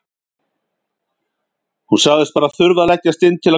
Hún sagðist bara þurfa að leggjast inn til að hvíla sig.